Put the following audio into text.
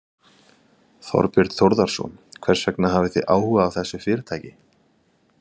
Þorbjörn Þórðarson: Hvers vegna hafið þið áhuga á þessu fyrirtæki?